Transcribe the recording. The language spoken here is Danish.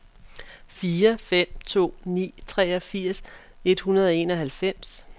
fire fem to ni treogfirs et hundrede og enoghalvfems